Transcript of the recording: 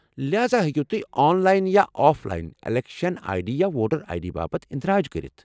لہاذا ہیكِو تُہۍ آن لاین یا offline election ID یا ووٹر آیہ ڈی باپت اندراج كرِتھ ۔